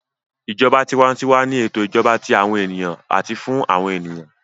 Ìjọba tiwantiwa ni ètò ìjọba tí àwọn ènìyàn àti fún àwọn ènìyàn